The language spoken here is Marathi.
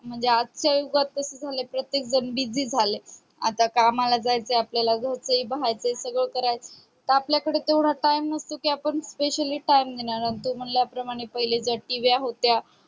म्हणजे आज चा युगात कसा झाले प्रत्येक जण busy झालाय आता कामाला जायचे आपल्याला घरचे बाहरेच सगळं करायचे आपल्याला त आपल्या कडे तेवढा time नसतो specially तू मानल्या प्रमाणे पहिले तेर T व्या होत्या